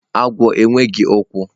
agwo enweghi ukwu.